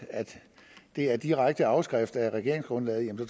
det er direkte afskrift af regeringsgrundlaget